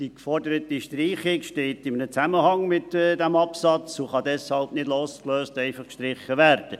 Die geforderte Streichung steht in einem Zusammenhang mit diesem Absatz und kann nicht losgelöst einfach gestrichen werden.